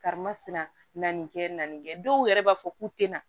Karima sina na nin kɛ na nin kɛ dɔw yɛrɛ b'a fɔ k'u tɛna